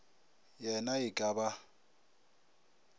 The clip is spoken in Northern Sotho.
ye na e ka ba